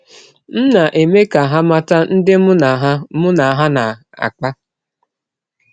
M na - eme ka ha mata ndị mụ na ha mụ na ha na - akpa.